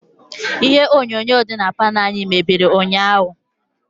ihe onyonyo dị na palọ anyi mebiri ụnyahụ